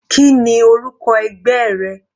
Kíni orúkọ ẹgbẹ́ rẹ?